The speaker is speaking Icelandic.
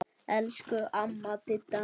Elsku amma Didda mín.